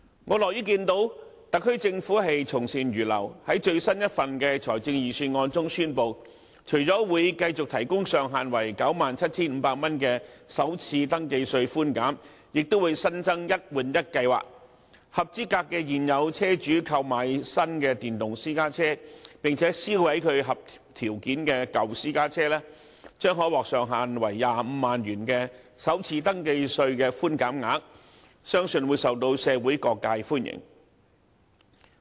我樂於看到特區政府從善如流，在最新一份的財政預算案中宣布，除了會繼續提供上限為 97,500 元的首次登記稅寬減，亦會新增"一換一"計劃，合資格的現有車主購買新的電動私家車，並且銷毀其合條件的舊私家車，將可獲上限為25萬元的首次登記稅的寬減額，相信會受到社會各界歡迎。